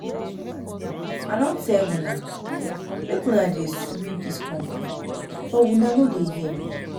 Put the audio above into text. I don tell una make una dey sweep dis compound but una no wan hear